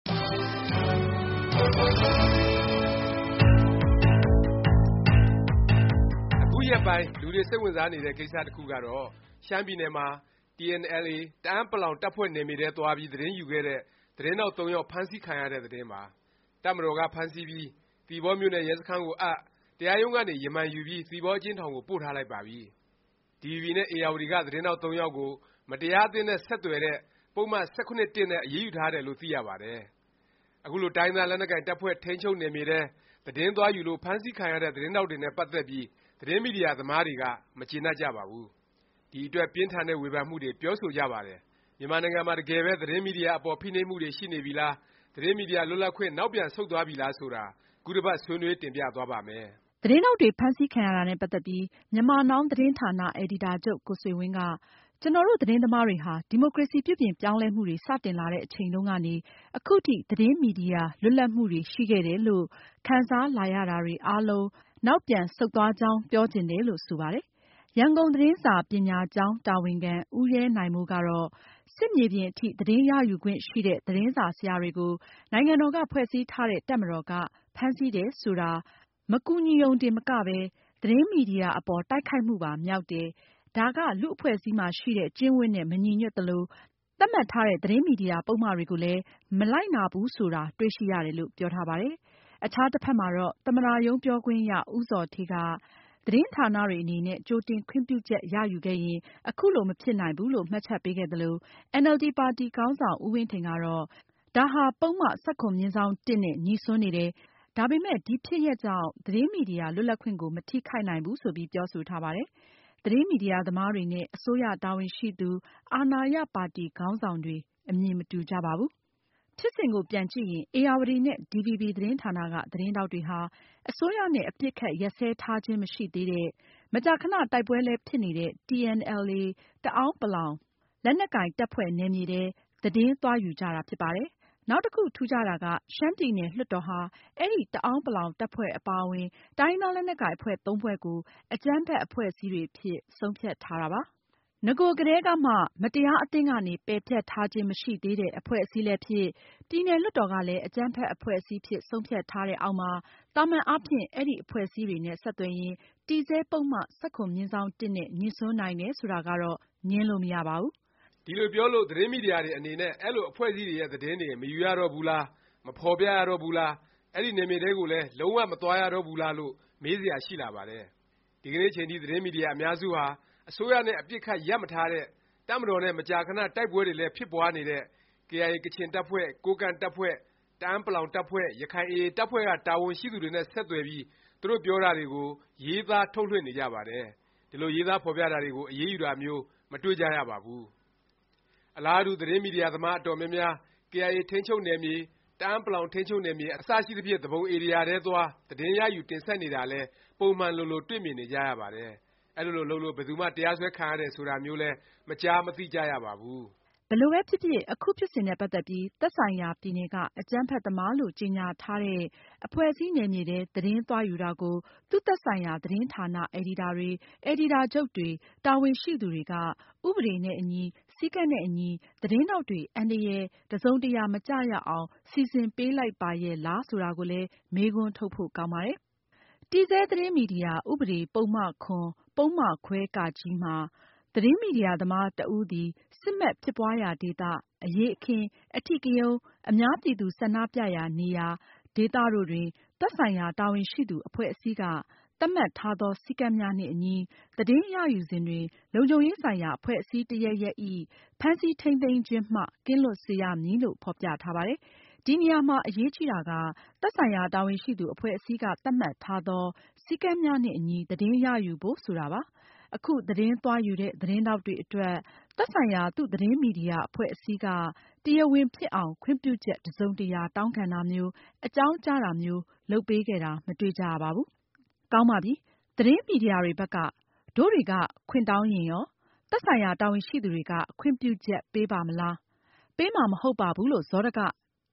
အခုရက်ပိုင်း လူတွေ စိတ်ဝင်စားနေတဲ့ ကိစ္စ တစ်ခုကတော့ ရှမ်းပြည်နယ်မှာ TNLA တအာန်းပလောင် တပ်ဖွဲ့ နယ်မြေထဲ သွားပြီး သတင်းယူခဲ့တဲ့ သတင်းထောက် သုံးယောက် ဖမ်းဆီးခံရတဲ့ သတင်းပါ။ တပ်မတော်က ဖမ်းဆီးပြီး သီပေါမြို့နယ် ရဲစခန်းကိုအပ်၊ တရားရုံးကနေ ရမန်ယူပြီး သီပေါအကျဉ်းထောင်ကို ပို့ထားလိုက်ပါပြီ။ ဒီဗွီဘီ နဲ့ ဧရာဝတီ က သတင်းထောက် သုံးယောက်ကို မတရားအသင်းနဲ့ ဆက်သွယ်တဲ့ ပုဒ်မ ၁၇/၁ နဲ့ အရေးယူထားတယ်လို့ သိရပါတယ်။ အခုလို တိုင်းရင်းသား လက်နက်ကိုင် တပ်ဖွဲ့ထိန်းချုပ်နယ်မြေထဲ သတင်းသွားယူလို့ ဖမ်းဆီးခံရတဲ့ သတင်းထောက်တွေနဲ့ ပတ်သက်ပြီး သတင်းမီဒီယာသမားတွေက မကျေနပ်ကြပါဘူး။ ဒီအတွက် ပြင်းထန်တဲ့ ဝေဖန်မှုတွေ ပြောဆိုကြပါတယ်။ မြန်မာနိုင်ငံမှာ တကယ်ပဲ သတင်းမီဒီယာ အပေါ် ဖိနှိပ်မှုတွေ ရှိနေပြီလား၊ သတင်းမီဒီယာ လွတ်လပ်ခွင့် နောက်ပြန်ဆုတ်သွားပြီလား ဆိုတာ ခုတစ်ပတ် ဆွေးနွေး တင်ပြသွားပါ့မယ်။ သတင်းထောက်တွေ ဖမ်းဆီးခံရတာနဲ့ ပတ်သက်ပြီး Myanmar Now သတင်းဌာန အယ်ဒီတာချုပ် ကိုဆွေဝင်းက “ ကျနော်တို့ သတင်းသမားတွေဟာ ဒီမိုကရေစီ ပြုပြင်ပြောင်းလဲမှုတွေ စတင်လာတဲ့ အချိန်တုန်းကနေ အခုထိ သတင်းမီဒီယာ လွတ်လပ်မှုတွေ ရှိခဲ့တယ်လို့ ခံစားလာရတာတွေ အားလုံး နောက်ပြန်ဆုတ်သွားတယ်လို့ ပြောချင်တယ်” လို့ ဆိုပါတယ်။ ရန်ကုန်သတင်းစာပညာကျောင်း တာဝန်ခံ ဦးရဲနိုင်မိုးကတော့ “ စစ်မြေပြင်အထိ သတင်းရယူခွင့်ရှိတဲ့ သတင်းစာဆရာတွေကို နိုင်ငံတော်က ဖွဲ့စည်းထားတဲ့ တပ်မတော်က ဖမ်းဆီးတယ် ဆိုတာ မကူညီရုံတင် မကပဲ သတင်းမီဒီယာ အပေါ် တိုက်ခိုက်မှုပါ မြောက်တယ်၊ ဒါက လူ့အဖွဲ့အစည်းမှာရှိတဲ့ ကျင့်ဝတ်နဲ့ မညီညွတ်သလို၊ သတ်မှတ်ထားတဲ့ သတင်းမီဒီယာ ပုဒ်မတွေကိုလည်း မလိုက်နာဘူးဆိုတာ တွေ့ရှိရတယ်” လို့ ပြောထားပါတယ်။ အခြားတစ်ဖက်မှာတော့ သမ္မတရုံး ပြောခွင့်ရ ဦးဇော်ဌေးက သတင်းဌာနတွေ အနေနဲ့ ကြိုတင် ခွင့်ပြုချက် ရယူခဲ့ရင် ခုလို မဖြစ်နိုင်ဘူးလို့ မှတ်ချက်ပေးခဲ့သလို၊ အင်န်အယ်လ်ဒီ ပါတီ ခေါင်းဆောင် ဦးဝင်းထိန်ကတော့ ဒါဟာ ပုဒ်မ ၁၇/၁ နဲ့ ငြိစွန်းနေတယ်၊ ဒါပေမယ့် ဒီဖြစ်ရပ်ကြောင့် သတင်းမီဒီယာ လွတ်လပ်ခွင့်ကို မထိခိုက်နိုင်ဘူး ဆိုပြီး ပြောဆိုထားပါတယ်။ သတင်းမီဒီယာသမားတွေနဲ့ အစိုးရ တာဝန်ရှိသူ၊ အာဏာရပါတီ ခေါင်းဆောင်တွေ အမြင်မတူကြပါဘူး။ ဖြစ်စဉ်ကို ပြန်ကြည့်ရင် ဧရာဝတီ နဲ့ ဒီဗွီဘီ သတင်းဌာနက သတင်းထောက်တွေဟာ အစိုးရနဲ့ အပစ်အခတ်ရပ်စဲထားခြင်း မရှိသေးတဲ့၊ မကြာခဏ တိုက်ပွဲလည်း ဖြစ်နေတဲ့ TNLA တအဲန်း ပလောင် လက်နက်ကိုင် တပ်ဖွဲ့ နယ်မြေထဲ သတင်းသွားယူကြတာ ဖြစ်ပါတယ်။ နောက်တစ်ခု ထူးခြားတာက ရှမ်းပြည်နယ် လွှတ်တော်ဟာ အဲဒီ တအဲန်းပလောင် တပ်ဖွဲ့အပါအဝင် တိုင်းရင်းသား လက်နက်ကိုင် အဖွဲ့ သုံးဖွဲ့ကို အကြမ်းဖက် အဖွဲ့အစည်းတွေအဖြစ် ဆုံးဖြတ်ထားတာပါ။ နဂိုကတည်းကမှ မတရားအသင်းကနေ ပယ်ဖျက်ထားခြင်း မရှိသေးတဲ့ အဖွဲ့အစည်းလည်းဖြစ်၊ ပြည်နယ်လွှတ်တော်ကလည်း အကြမ်းဖက် အဖွဲ့အစည်းအဖြစ် ဆုံးဖြတ်ထားတဲ့အောက်မှာ သာမန်အားဖြင့် အဲဒီ အဖွဲ့အစည်းတွေနဲ့ ဆက်သွယ်ရင် တည်ဆဲ ပုဒ်မ ၁၇/၁ နဲ့ ငြိစွန်းနိုင်တယ်ဆိုတာကတော့ ငြင်းလို့ မရပါဘူး။ ဒီလိုပြောလို့ သတင်းမီဒီယာတွေ အနေနဲ့ အဲလို အဖွဲ့အစည်းတွေရဲ့ သတင်းတွေ မယူရတော့ဘူးလား၊ မဖော်ပြရတော့ဘူးလား၊ အဲဒီ နယ်မြေထဲကိုလည်း လုံး၀ မသွားရတော့ဘူးလား လို့ မေးစရာ ရှိလာပါတယ်။ ဒီကနေ့အချိန်ထိ သတင်းမီဒီယာ အများစုဟာ အစိုးရနဲ့ အပစ်အခတ် ရပ်မထားတဲ့ တပ်မတော်နဲ့ မကြာခဏ တိုက်ပွဲတွေလည်း ဖြစ်ပွားနေတဲ့ KIA ကချင်တပ်ဖွဲ့၊ ကိုးကန့်တပ်ဖွဲ့၊ တအဲန်းပလောင် တပ်ဖွဲ့၊ ရခိုင် AA တပ်ဖွဲ့က တာဝန်ရှိသူတွေနဲ့ ဆက်သွယ်ပြီး သူတို့ပြောတာတွေကို ရေးသား၊ ထုတ်လွှင့်နေကြပါတယ်။ ဒီလို ရေးသားဖော်ပြတာတွေကို အရေးယူတာမျိုး မတွေ့ကြရပါဘူး။ အလားတူ သတင်းမီဒီယာသမား အတော်များများ KIA ထိန်းချုပ်နယ်မြေ၊ တအဲန်းပလောင် ထိန်းချုပ်နယ်မြေ အစရှိသဖြင့် သူပုန်ဧရိယာထဲသွား၊ သတင်းရယူ တင်ဆက်နေတာလည်း ပုံမှန်လိုလို တွေ့မြင်နေကြရပါတယ်။ အဲဒီလိုလုပ်လို့ ဘယ်သူမှ တရားစွဲခံရတယ် ဆိုတာမျိုးလည်း မကြားမသိကြရပါဘူး။ ဘယ်လိုပဲဖြစ်ဖြစ် အခုဖြစ်စဉ်နဲ့ ပတ်သက်ပြီး သက်ဆိုင်ရာ ပြည်နယ်က အကြမ်းဖက်သမားလို့ ကြေငြာထားတဲ့ အဖွဲ့အစည်း နယ်မြေထဲ သတင်းသွားယူတာကို သူ့ သက်ဆိုင်ရာ သတင်းဌာန အယ်ဒီတာတွေ၊ အယ်ဒီတာချုပ်တွေ၊ တာဝန်ရှိသူတွေက ဥပဒေနဲ့အညီ၊ စည်းကမ်းနဲ့အညီ သတင်းထောက်တွေ အန္တရယ် တစ်စုံတစ်ရာ မကျရောက်အောင် စီစဉ်ပေးလိုက်ပါရဲ့လား ဆိုတာကိုလည်း မေးခွန်းထုတ်ဖို့ ကောင်းပါတယ်။ တည်ဆဲ သတင်းမီဒီယာ ဥပဒေ ပုဒ်မ၇ ပုဒ်မခွဲ မှာ “ သတင်းမီဒီယာသမား တစ်ဦးသည် စစ်မက် ဖြစ်ပွားရာဒေသ၊ အရေးအခင်း၊ အဓိကရုဏ်း၊ အများပြည်သူ ဆန္ဒပြရာနေရာ ဒေသတို့တွင် သက်ဆိုင်ရာ တာဝန်ရှိသူ အဖွဲ့အစည်းက သတ်မှတ်ထားသော စည်းကမ်းများနှင့်အညီ သတင်းရယူစဉ်တွင် လုံခြုံရေးဆိုင်ရာ အဖွဲ့အစည်း တစ်ရပ်ရပ်ဇ။် ဖမ်းဆီးထိမ်းသိမ်းခြင်းမှ ကင်းလွတ်စေရမည်” လို့ ဖော်ပြထားပါတယ်။ ဒီနေရာမှာ အရေးကြီးတာက “သက်ဆိုင်ရာ တာဝန်ရှိသူ အဖွဲ့အစည်းက သတ်မှတ်ထားသော စည်းကမ်းများနှင့်အညီ သတင်းရယူ” ဖို့ ဆိုတာပါ။ အခု သတင်းသွားယူတဲ့ သတင်းထောက်တွေအတွက် သက်ဆိုင်ရာ သူ့သတင်းမီဒီယာ အဖွဲ့အစည်းက တရားဝင်ဖြစ်အောင် ခွင့်ပြုချက် တစ်စုံတစ်ရာ တောင်းခံတာမျိုး၊ အကြောင်းကြားတာမျိုး လုပ်ပေးခဲ့တာ မတွေ့ကြရပါဘူး။ ကောင်းပါပြီ။ သတင်းမီဒီယာတွေဘက်က တို့တွေက ခွင့်တောင်းရင်ရော၊ သက်ဆိုင်ရာ တာဝန်ရှိသူတွေက ခွင့်ပြုချက်ပေးပါ့မလား၊ ပေးမှာ မဟုတ်ပါဘူး လို့ စောဒက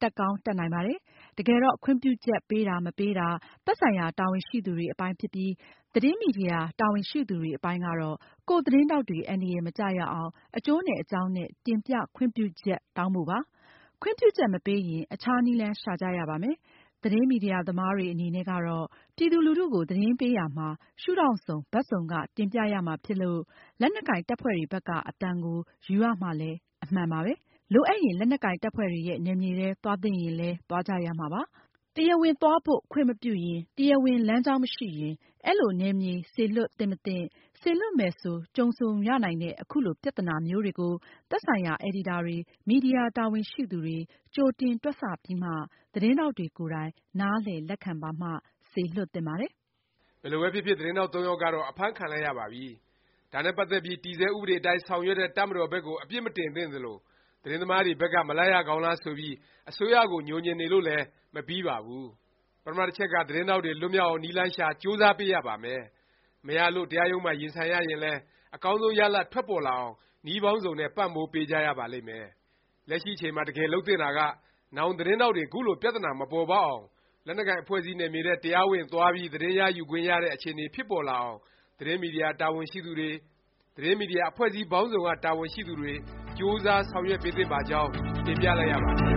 တက်ကောင်းတက်နိုင်ပါတယ်။ တကယ်တော့ ခွင့်ပြုချက် ပေးတာ၊ မပေးတာ သက်ဆိုင်ရာ တာဝန်ရှိသူတွေအပိုင်းဖြစ်ပြီး သတင်းမီဒီယာ တာဝန်ရှိသူတွေ အပိုင်းကတော့ ကိုယ့်သတင်းထောက်တွေ အန္တရာယ် မကျရောက်အောင် အကျိုးနဲ့ အကြောင်းနဲ့ တင်ပြခွင့်ပြုချက် တောင်းဖို့ပါပဲ။ ခွင့်ပြုချက် မပေးရင် အခြားနည်းလမ်း ရှာကြရပါမယ်။ သတင်းမီဒီယာသမားတွေ အနေနဲ့ကတော့ ပြည်သူလူထုကို သတင်းပေးရာမှာ ရှုဒေါင့်စုံ၊ ဘက်စုံက တင်ပြရမှာဖြစ်လို့ လက်နက်ကိုင် တပ်ဖွဲ့တွေဘက်က အသံကို ယူရမှာလည်း အမှန်ပါပဲ။ လိုအပ်ရင် လက်နက်ကိုင် တပ်ဖွဲ့တွေရဲ့ နယ်မြေထဲ သွားသင့်ရင်လည်း သွားကြရမှာပါပဲ။ တရားဝင် သွားဖို့ ခွင့်မပြုရင်၊ တရားဝင် လမ်းကြောင်း မရှိရင် အဲလိုနယ်မြေမျိုး စေလွှတ် သင့်မသင့်၊ စေလွှတ်မယ်ဆို ကြုံဆုံရနိုင်တဲ့ အခုလို ပြသနာမျိုးတွေကို သက်ဆိုင်ရာ အယ်ဒီတာတွေ၊ မီဒီယာ တာဝန်ရှိသူတွေ ကြိုတင်တွက်ဆပြီးမှ သတင်းထောက်တွေကိုယ်တိုင် နားလည် လက်ခံပါမှ စေလွှတ်သင့်ပါတယ်။ ဘယ်လိုပဲဖြစ်ဖြစ် သတင်းထောက်သုံးယောက်ကတော့ အဖမ်းခံလိုက်ရပါပြီ။ ဒါနဲ့ပတ်သက်ပြီး တည်ဆဲဥပဒေအတိုင်း ဆောင်ရွက်တဲ့ တပ်မတော်ဘက်ကို အပြစ်မတင်သင့်သလို၊ သတင်းသမားတွေဘက်က မလိုက်ရကောင်းလား ဆိုပြီး အစိုးရကို ညိုငြင်နေလို့လည်း မပြီးပါဘူး။ ပထမ တစ်ချက်က သတင်းထောက်တွေ လွတ်မြောက်အောင် နည်းလမ်းရှာ ကြိုးစားပေးရပါမယ်။ မရလို့ တရားရုံးမှာ ရင်ဆိုင်ရရင်လည်း အကောင်းဆုံး ရလာဒ် ထွက်ပေါ်လာအောင် နည်းပေါင်းစုံနဲ့ ပံ့ပိုးပေးကြရပါလိမ့်မယ်။ လက်ရှိအချိန်မှာ တကယ် လုပ်သင့်တာက နောင် သတင်းထောက်တွေ ခုလို ပြသနာ မပေါ်ပေါက်အောင်၊ လက်နက်ကိုင် အဖွဲ့အစည်းနယ်မြေထဲ တရားဝင် သွားပြီး သတင်းယူခွင့်ရတဲ့ အခြေအနေ ဖြစ်ပေါ်လာအောင် သတင်းမီဒီယာ တာဝန်ရှိသူတွေ၊ သတင်းမီဒီယာ အဖွဲ့အစည်း ပေါင်းစုံက တာဝန်ရှိသူတွေ ကြိုးစား ဆောင်ရွက်ပေးသင့်ပါကြောင်း တင်ပြလိုက်ရပါတယ်